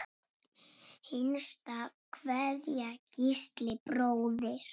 Hinsta kveðja, Gísli bróðir.